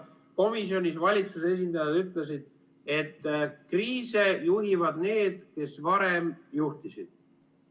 Komisjonis valitsuse esindajad ütlesid, et kriise juhivad need, kes varem juhtisid.